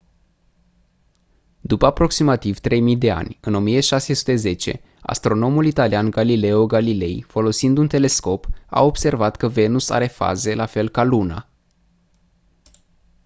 după aproximativ 3000 de ani în 1610 astronomul italian galileo galilei folosind un telescop a observat că venus are faze la fel ca luna